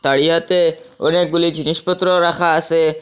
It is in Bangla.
তাড়িয়াতে অনেকগুলি জিনিসপত্র রাখা আসে।